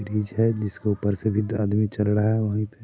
Bridge है जिस के ऊपर से वृद्ध आदमी चल रहा वही पे।